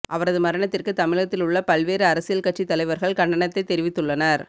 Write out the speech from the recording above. அவரது மரணத்திற்கு தமிழகத்தில் உள்ள பல்வேறு அரசியல் கட்சித்தலைவர்கள் கண்டனத்தை தெரிவித்துள்ளனர்